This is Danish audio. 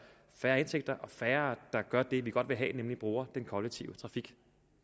færre indtægter og færre der gør det vi godt vil have nemlig bruger den kollektive trafik